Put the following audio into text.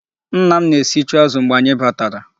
Nna m na-esichu azụ mgbè anyị batara.